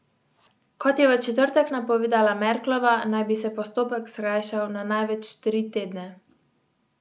Kot je v četrtek napovedala Merklova, naj bi se postopek skrajšal na največ tri tedne.